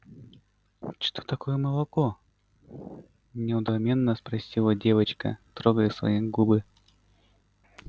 что такое молоко недоуменно спросила девочка трогая свои губы